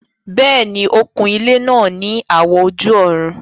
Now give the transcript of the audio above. Bẹ́ẹ̀ni, ó kun ilẹ́ náà ní àwọ̀ ojú-ọ̀run